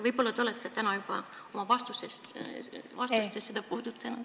Võib-olla te olete täna oma vastustes seda juba puudutanud.